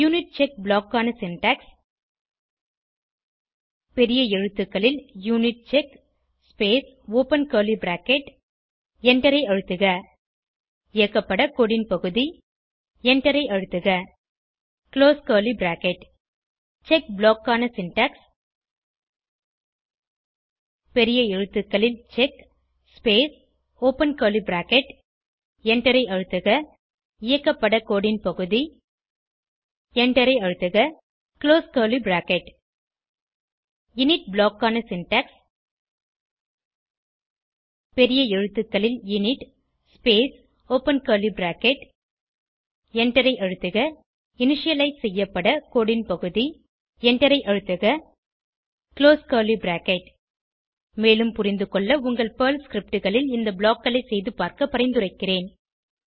unit check block க்கான syntax பெரிய எழுத்துக்களில் unit check space open curly bracket எண்டரை அழுத்துக இயக்கப்பட கோடு ன் பகுதி எண்டரை அழுத்துக close curly bracket check block க்கான சின்டாக்ஸ் பெரிய எழுத்துக்களில் check space open curly bracket எண்டரை அழுத்துக இயக்கப்பட கோடு ன் பகுதி எண்டரை அழுத்துக close curly bracket init block க்கான சின்டாக்ஸ் பெரிய எழுத்துக்களில் init space open curly bracket எண்டரை அழுத்துக இனிஷியலைஸ் செய்யப்பட கோடு ன் பகுதி எண்டரை அழுத்துக குளோஸ் கர்லி பிராக்கெட் மேலும் புரிந்துகொள்ள உங்கள் பெர்ல் scriptகளில் இந்த ப்ளாக் களை செய்து பார்க்க பரிந்துரைக்கிறேன்